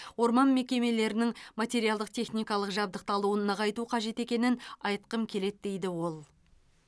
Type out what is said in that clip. орман мекемелерінің материалдық техникалық жабдықталуын нығайту қажет екенін айтқым келеді дейді ол